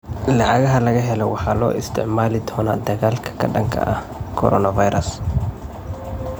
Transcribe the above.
Lacagaha la helo waxaa loo isticmaali doonaa dagaalka ka dhanka ah coronavirus.